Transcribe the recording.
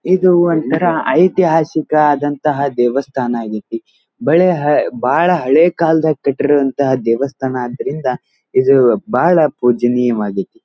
ಇದು ಒಂತರ ಐತಿಹಾಸಿಕ ಆದಂತಹ ದೇವಸ್ಥಾನ ವಾಗಿದೆ ಬಲೆ ಬಹಳ ಹಳೆ ಕಾಲ ಕಟ್ಟಿರುವಂತಹ ದೇವಸ್ಥಾನ ಆದ್ದರಿಂದ ಇದು ಬಾಳ ಪೂಜ್ಯನಿಯವಾಗಿದೆ.